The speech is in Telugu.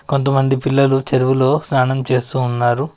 కొంతమంది పిల్లలు చెరువులో స్నానం చేస్తూ ఉన్నారు.